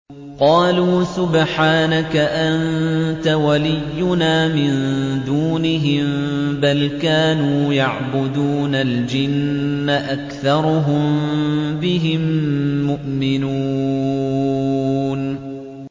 قَالُوا سُبْحَانَكَ أَنتَ وَلِيُّنَا مِن دُونِهِم ۖ بَلْ كَانُوا يَعْبُدُونَ الْجِنَّ ۖ أَكْثَرُهُم بِهِم مُّؤْمِنُونَ